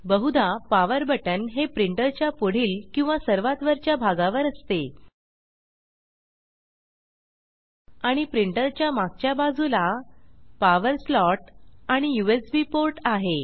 बहुधा power button हे printer च्या पुढील किंवा सर्वात वरच्या भागावर असते आणि प्रिंटर च्या मगच्या बाजुला पॉवर स्लॉट आणि यूएसबी पोर्ट आहे